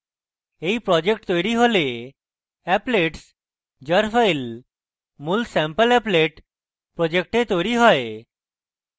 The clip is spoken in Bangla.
এই project তৈরী হলে applets jar file মূল sampleapplet project তৈরী হয়